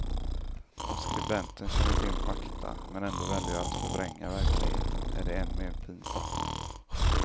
Om skribenten känner till fakta, men ändå väljer att förvränga verkligheten är det än mer pinsamt.